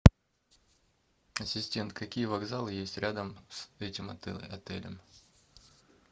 ассистент какие вокзалы есть рядом с этим отелем